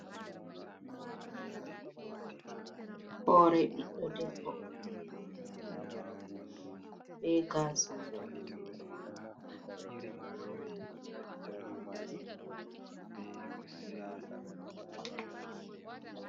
Hore biɗɗo debbo, be gaasa.